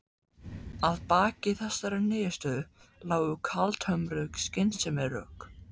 Að baki þessari niðurstöðu lágu kaldhömruð skynsemisrök.